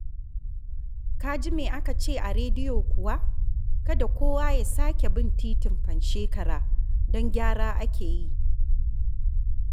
Ka ji me aka ce a rediyo kuwa? Kada kowa ya sake bin titin Panshekara don gyara ake yi